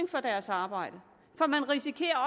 for deres arbejde for man risikerer